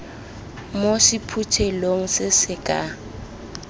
mo sephuthelong se se ka